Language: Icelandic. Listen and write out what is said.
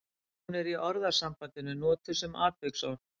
Hún er í orðasambandinu notuð sem atviksorð.